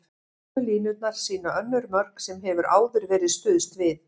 Gulu línurnar sýna önnur mörk sem hefur áður verið stuðst við.